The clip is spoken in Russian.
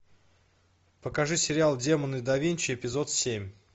покажи сериал демоны да винчи эпизод семь